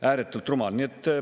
Ääretult rumal!